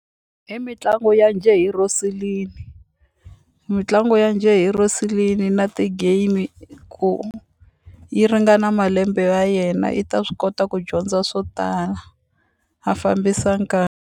I mitlangu ya njhe hi mitlangu ya njhe hi na ti-game ku yi ringana malembe ya yena yi ta swi kota ku dyondza swo tala a fambisa .